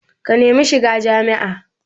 Ka nemi shiga jami'a